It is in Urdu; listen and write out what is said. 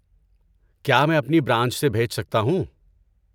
کیا میں اپنی برانچ سے بھیج سکتا ہوں؟